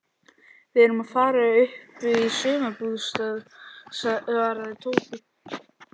Við erum að fara upp í sumarbústað svaraði Tóti.